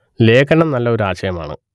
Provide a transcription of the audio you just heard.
ലേഖനം നല്ല ഒരു ആശയം ആണ്